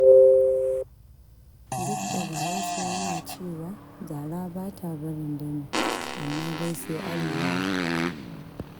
Duk da Bahaushe yana cewa zara ba ta barin dami, amma dai sai an lura.